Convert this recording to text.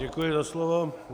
Děkuji za slovo.